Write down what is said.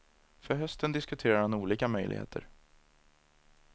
För hösten diskuterar han olika möjligheter.